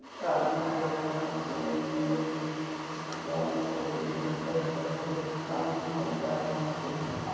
आदमी सब यहाँ पे इंडियन आदमी सब भी यहाँ पे छोटा-छोटा काम ऊम सब चलता है यहाँ पे --